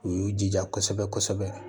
U y'u jija kosɛbɛ kosɛbɛ